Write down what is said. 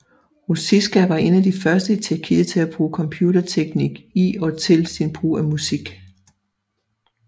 Ruzicka var en af de første i Tjekkiet til at bruge computerteknik i og til sin brug af musik